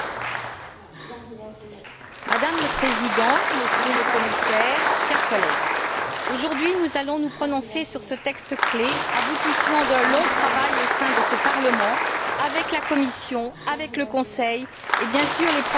Madame la Présidente, Monsieur le Commissaire, chers collègues, aujourd'hui, nous allons nous prononcer sur ce texte clé, aboutissement d'un long travail, au sein de ce Parlement, avec la Commission, le Conseil et, bien sûr, les professionnels et la société civile.